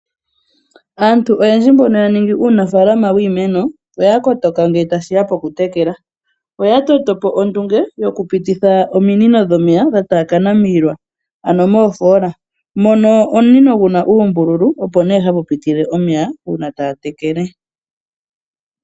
Aantu oyendji mbono ya ningi uunafaalama wiimeno, oya kotoka ngele tashiya pokutekela. Oya toto po ondunge okupititha ominino dhomeya dha taakana miilwa ano moofoola, mono omunino guna uumbululu opo ne hapupitile omeya uuna taya tekele.